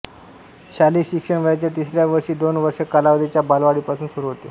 शालेय शिक्षण वयाच्या तिसऱ्या वर्षी दोन वर्ष कालावधीच्या बालवाडीपासून सुरू होते